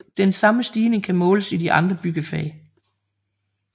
Den samme stigning kan måles i de andre byggefag